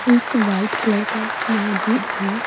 एक white colour का मस्जिद है।